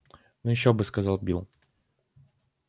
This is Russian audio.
ну ещё бы сказал билл